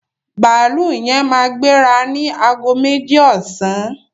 Bàálù yẹn máa gbéra ni aago méjì ọsàn